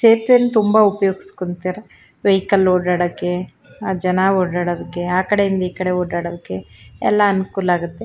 ಚೇಪೆನ್ ತುಂಬಾ ಉಪಯೋಗಸ್ಕೊಂತ್ತರೆ ವೆಹಿಕಲ್ ಓಡಾಡಕ್ಕೆ ಜನ ಓಡಾಡಕ್ಕೆ ಆಕಡೆ ಇಂದ ಈಕಡೆ ಓಡಾಡಕ್ಕೆ ಎಲ್ಲಾ ಅನಕುಲಾ ಆಗುತ್ತೆ.